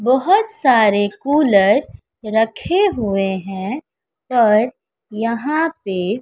बहोत सारे कूलर रखे हुए हैं और यहां पे--